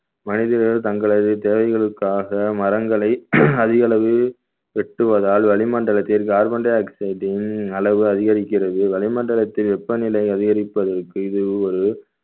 மனிதர்கள் தங்களது தேவைகளுக்காக மரங்களை அதிக அளவு வெட்டுவதால் வளிமண்டலத்தில் carbon dioxide ன் அளவு அதிகரிக்கிறது வளிமண்டலத்தில் வெப்பநிலை அதிகரிப்பதற்கு இது ஒரு